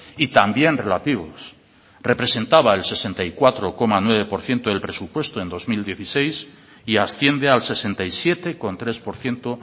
y también relativos representaba el sesenta y cuatro coma nueve por ciento del presupuesto en dos mil dieciséis y asciende al sesenta y siete coma tres por ciento